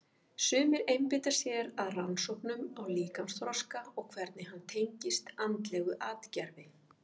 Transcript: Sumir einbeita sér að rannsóknum á líkamsþroska og hvernig hann tengist andlegu atgervi.